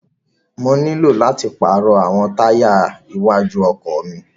Mo ní láti pàrọ̀ àwọn táyà iwájú ọkọ̀ mi.